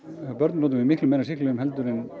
hjá börnum notum við miklu meira af sýklalyfjum heldur en